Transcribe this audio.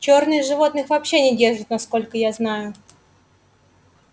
чёрных животных вообще не держат насколько я знаю